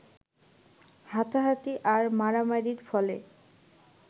হাতাহাতি আর মারামারির ফলে